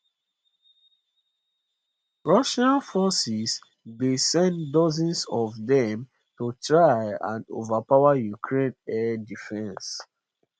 russian forces dey send dozens of dem to try and overpower ukraine air defences